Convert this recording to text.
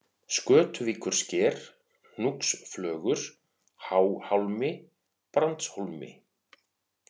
Skötuvíkursker, Hnúksflögur, Háhálmi, Brandshólmi